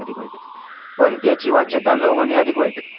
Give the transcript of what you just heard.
पण त्याची वाच्यता न होणे अधिक वाईट